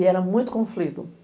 E era muito conflito.